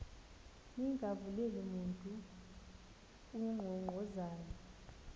ningavuleli mntu unkqonkqozayo